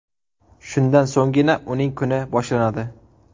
Shundan so‘nggina uning kuni boshlanadi.